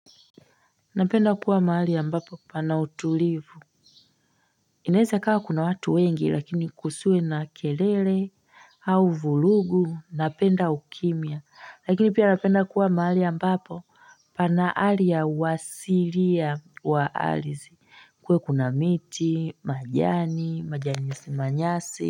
Napenda kuwa mahali ambapo, pana utulivu inaweza ikawa kuna watu wengi lakini kusiwe na kelele au vurugu napenda ukimya. Lakini pia napenda kuwa mahali ambapo pana hali ya uasilia wa ardhi kuwe kuna miti, majani, manyasi manyasi.